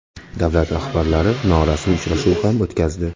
Davlat rahbarlari norasmiy uchrashuv ham o‘tkazdi .